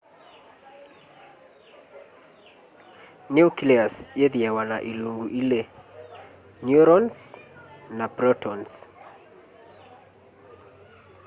nucleus yĩthĩawa na ilungu ilĩ neurons na protons